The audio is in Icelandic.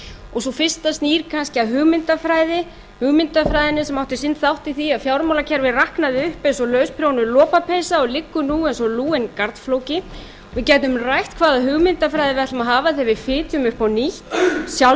og sú fyrsta snýr kannski að hugmyndafræði hugmyndafræðinni sem átti sinn þátt í því að fjármálakerfið raknaði upp eins og lausprjónuð lopapeysa og liggur nú eins og lúinn garnflóki við gætum rætt hvaða hugmyndafræði við ætlum að hafa þegar við fitjum upp á nýtt sjálf er ég ekki